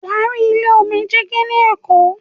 Wà á rí ilé oní dígí ní Èkó.